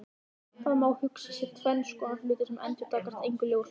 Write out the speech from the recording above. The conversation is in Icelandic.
Það má hugsa sér tvenns konar hluti sem endurkasta engu ljósi.